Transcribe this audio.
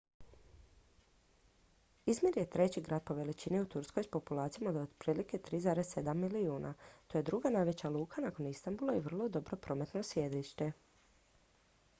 izmir je treći grad po veličini u turskoj s populacijom od otprilike 3,7 milijuna to je druga najveća luka nakon istanbula i vrlo dobro prometno središte